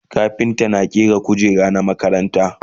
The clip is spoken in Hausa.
kafinta na ƙera kujeru na makaranta